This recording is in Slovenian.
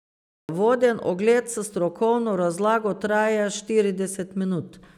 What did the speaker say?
Voden ogled s strokovno razlago traja štirideset minut.